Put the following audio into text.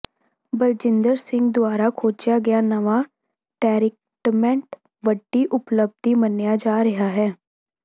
ਬਲਜਿੰਦਰ ਸਿੰਘ ਦੁਆਰਾ ਖੋਜਿਆ ਗਿਆ ਨਵਾਂ ਟਰੀਟਮੈਂਟ ਵੱਡੀ ਉਪਲਬਧੀ ਮੰਨਿਆ ਜਾ ਰਿਹਾ ਹੈ